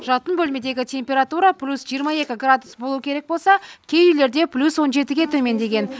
жатын бөлмедегі температура плюс жиырма екі градус болу керек болса кей үйлерде плюс он жетіге төмендеген